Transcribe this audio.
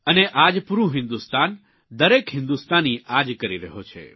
અને આજ પૂરૂં હિંદુસ્તાન દરેક હિંદુસ્તાની આજ કરી રહ્યો છે